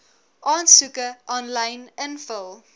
aansoeke aanlyn invul